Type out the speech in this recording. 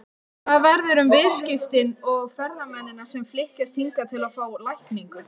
Hvað verður um viðskiptin og ferðamennina sem flykkjast hingað til að fá lækningu?